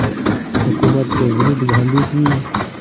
हुकूमत के विरुद्ध गांधी की